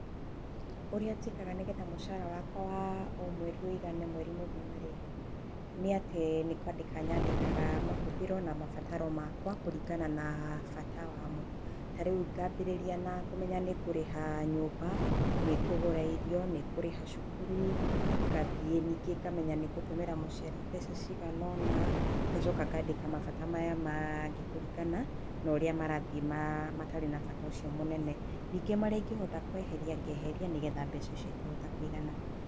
Ũrĩa njĩkaga nĩgetha mũcara wakwa wa o mweri ũigane mweri mũgima rĩ, nĩ atĩ, nĩ kwandĩka nyandĩkaga mahũthĩro na mabataro makwa kũringana na bata wamo. Tarĩu ngambĩrĩria kũmenya nĩ ngũrĩha nyũmba, kũgũra irio, nĩ ngũrĩha cukuru, ngathiĩ nĩngĩ ngamenya nĩ ngũtũmĩra mũciari mbeca cigana-ona, ngacoka ngandĩka mabata maya mangĩ kũringana na ũrĩa marathiĩ matarĩ na bata ũcio mũnene. Nĩngĩ marĩa ingĩhota kweheria ngeheria, ngeheria nĩgetha mbeca icio ikahota kũigana.